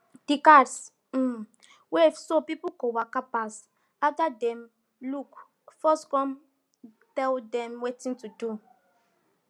de guards um wave so people go waka pass after dem look first com tell dem wetin to do